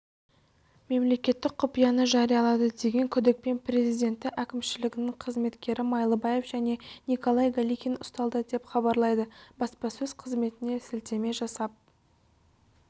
мемлекеттік құпияны жариялады деген күдікпен президенті әкімшілігінің қызметкері майлыбаев және николай галихин ұсталды деп хабарлайды баспасөз қызметіне сілтеме жасап